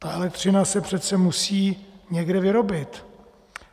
Ta elektřina se přece musí někde vyrobit.